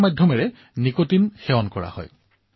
ইয়াৰ জৰিয়তে নিকোটিনৰ সেৱন কৰা হয়